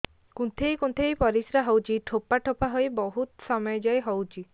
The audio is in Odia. କୁନ୍ଥେଇ କୁନ୍ଥେଇ ପରିଶ୍ରା ହଉଛି ଠୋପା ଠୋପା ହେଇ ବହୁତ ସମୟ ଯାଏ ହଉଛି